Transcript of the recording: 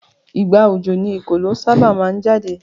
Ìgbà òjò ni ekòló sábà máa ń jáde